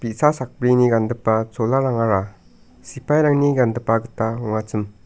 bi·sa sakbrini gangipa cholarangara sipairangni gangipa gita ong·achim.